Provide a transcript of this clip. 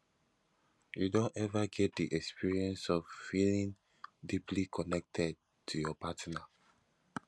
you don ever get di experience of feeling deeply connected to your partner